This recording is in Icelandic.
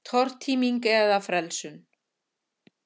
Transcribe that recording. Tortíming eða frelsun?